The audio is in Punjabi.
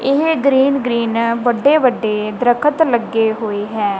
ਇਹ ਗ੍ਰੀਨ ਗ੍ਰੀਨ ਵੱਡੇ ਵੱਡੇ ਦਰਖਤ ਲੱਗੇ ਹੋਏ ਹੈ।